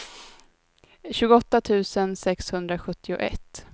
tjugoåtta tusen sexhundrasjuttioett